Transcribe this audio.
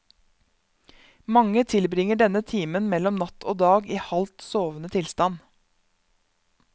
Mange tilbringer denne timen mellom natt og dag i halvt sovende tilstand.